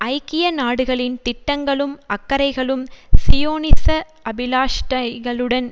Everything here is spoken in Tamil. ஐக்கிய நாடுகளின் திட்டங்களும் அக்கறைகளும் சியோனிச அபிலாஷைகளுடன்